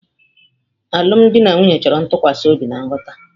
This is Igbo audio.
Alụmdi na nwunye chọrọ ntụkwasị obi na nghọta.